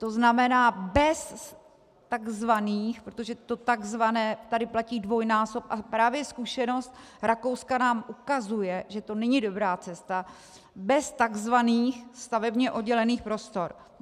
To znamená bez takzvaných - protože to takzvané tady platí dvojnásob, a právě zkušenost Rakouska nám ukazuje, že to není dobrá cesta - bez takzvaných stavebně oddělených prostor.